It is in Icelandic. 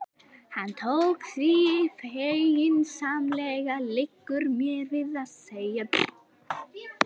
Hann tók því feginsamlega, liggur mér við að segja.